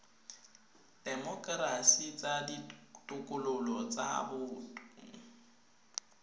temokerasi tsa ditokololo tsa boto